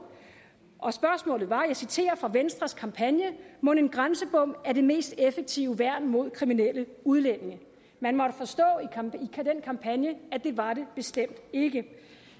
og det var og jeg citerer fra venstres kampagne mon en grænsebom er det mest effektive værn mod kriminelle udlændinge man måtte forstå i den kampagne at det var det bestemt ikke